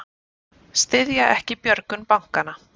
Styðja ekki björgun bankanna